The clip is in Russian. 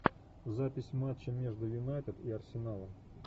запись матча между юнайтед и арсеналом